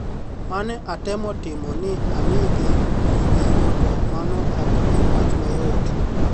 "Mane atemo timo ni amigi mijing'o to mano ok en wach mayot.